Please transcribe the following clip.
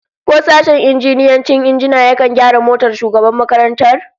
Ko sashen injiniyancin injina yakan gyara motar shugaban makarantar?